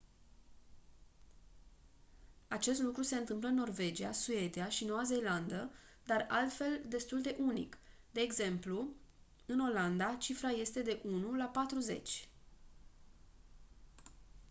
acest lucru se întâmplă în norvegia suedia și noua zeelandă dar altfel destul de unic de exemplu în olanda cifra este de la 1 la patruzeci